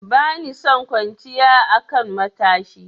Bani son kwanciya a kan matashi.